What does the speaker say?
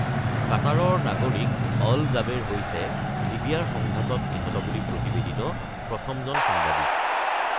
কাটাৰৰ নাগৰিক Al Jaber হৈছে লিবিয়াৰ সংঘাতত নিহত বুলি প্ৰতিবেদিত প্ৰথমজন সাংবাদিক।